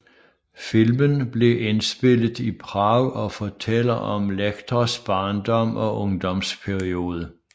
Filmen blev indspillet Prag og fortæller om Lectors barndom og ungdomsperiode